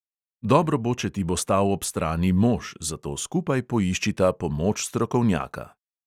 Dobro bo, če ti bo stal ob strani mož, zato skupaj poiščita pomoč strokovnjaka.